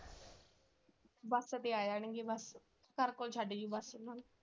ਤੇ ਆਇਆ ਨੀ sir ਕੋਲ ਛੱਡ .